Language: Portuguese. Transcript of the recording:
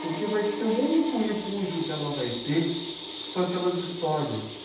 porque vai ser o único refúgio que ela vai ter são aquelas histórias.